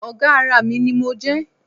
Ọ̀gá ara mi ni mo jẹ́